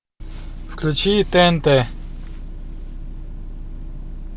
включи тнт